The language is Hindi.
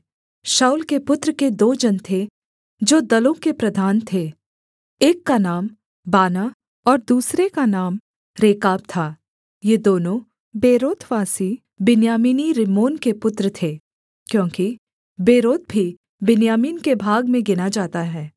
शाऊल के पुत्र के दो जन थे जो दलों के प्रधान थे एक का नाम बानाह और दूसरे का नाम रेकाब था ये दोनों बेरोतवासी बिन्यामीनी रिम्मोन के पुत्र थे क्योंकि बेरोत भी बिन्यामीन के भाग में गिना जाता है